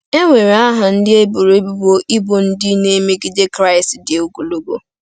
E NWERE aha ndị eboro ebubo ịbụ ndị na-emegide Kraịst dị ogologo.